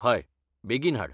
हय, बेगीन हाड.